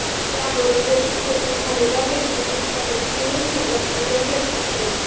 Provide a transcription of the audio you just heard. त्यावर गोपूज येथे झालेल्या बैठकीत त्यांनी तीव्र शब्दात निषेध व्यक्त केला